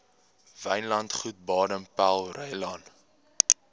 wynlandgoed baden powellrylaan